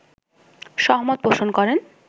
সহমত পোষণ করেন